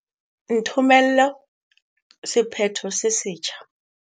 Nthomelle sephetho se setjha.